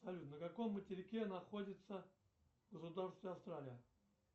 салют на каком материке находится государство австралия